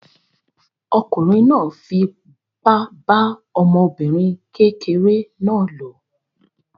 Ọkùnrin náà fipá bá ọmọbìnrin kékeré náà lò.